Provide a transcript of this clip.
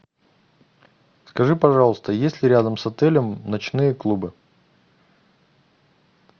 скажи пожалуйста есть ли рядом с отелем ночные клубы